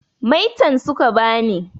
Maitan su ka ba ni.